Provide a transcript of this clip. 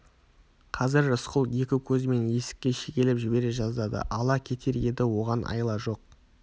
қазір рысқұл екі көзімен есікке шегелеп жібере жаздады ала кетер еді оған айла жоқ